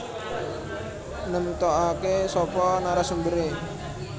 Nemtokake sapa narasumbere